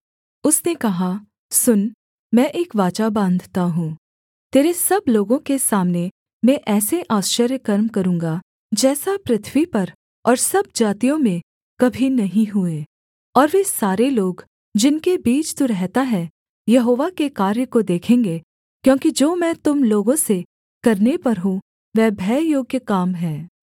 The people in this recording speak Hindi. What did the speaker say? उसने कहा सुन मैं एक वाचा बाँधता हूँ तेरे सब लोगों के सामने मैं ऐसे आश्चर्यकर्म करूँगा जैसा पृथ्वी पर और सब जातियों में कभी नहीं हुए और वे सारे लोग जिनके बीच तू रहता है यहोवा के कार्य को देखेंगे क्योंकि जो मैं तुम लोगों से करने पर हूँ वह भययोग्य काम है